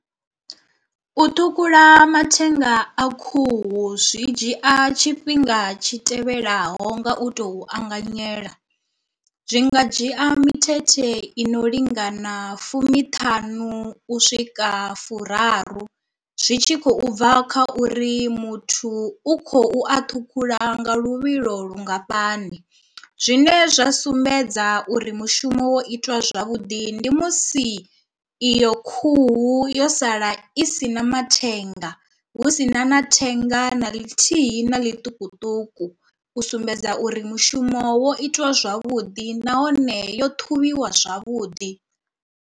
U ṱhukhula mathenga a khuhu zwi dzhia tshifhinga tshi tevhelaho nga u tou anganyela zwi nga dzhia mithethe i no lingana fumiṱhanu u swika furaru zwi tshi khou bva kha uri muthu u khou a thukhula nga luvhilo lungafhani. Zwine zwa sumbedza uri mushumo wo itwa zwavhuḓi ndi musi iyo khuhu yo sala i si na mathenga hu sina na thenga na ḽithihi na ḽiṱukuṱuku u sumbedza uri mushumo wo itiwa zwavhuḓi nahone yo ṱhuvhiwa zwavhuḓi.